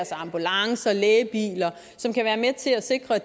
sig ambulancer og lægebiler som kan være med til at sikre at